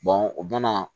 o bɛna